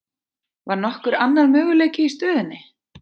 Var nokkur annar möguleiki í stöðunni?